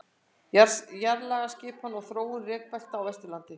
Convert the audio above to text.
Jarðlagaskipan og þróun rekbelta á Vesturlandi.